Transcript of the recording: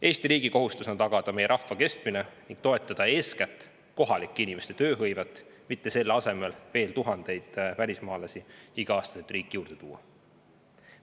Eesti riigi kohustus on tagada meie rahva kestmine ning toetada eeskätt kohalike inimeste tööhõivet, mitte selle asemel veel tuhandeid välismaalasi igal aastal riiki juurde tuua.